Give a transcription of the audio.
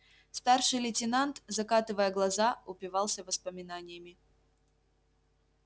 старший лейтенант закатывая глаза упивался воспоминаниями